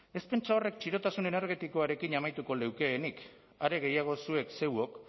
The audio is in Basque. ez pentsa horrek txirotasun energetikoarekin amaituko leukeenik are gehiago zuek zeuok